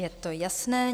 Je to jasné.